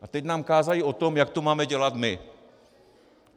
A teď nám kážou o tom, jak to máme dělat my.